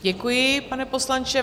Děkuji, pane poslanče.